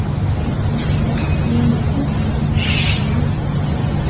бірақ енді сіз айтсаңыз аламыз ғой